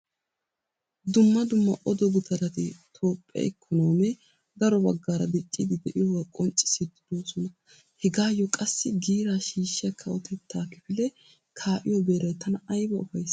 Dumma dumma odo gutarati toophphee ikkonoomee daro baggaara dicciid de'iyoogaa qonccissiiddi doosona. Hegaayo qassi giiraa shiishshiya kawoteetta kifilee kaa'iyo beeray tana ayba ufaysii!